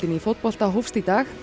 í fótbolta hófst í dag